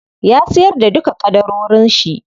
Ya siyar da duka ƙadarorin shi.